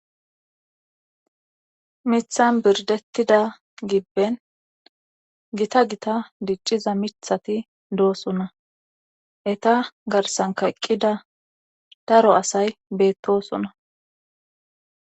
mithan birdettida gibben gita gita dicciza mithati doosona eta garsan kayqqida daro asay beettosona